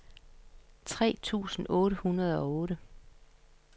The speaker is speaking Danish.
tre tusind otte hundrede og otte